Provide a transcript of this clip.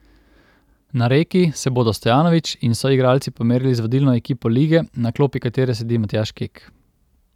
Na Reki se bodo Stojanović in soigralci pomerili z vodilno ekipo lige, na klopi katere sedi Matjaž Kek.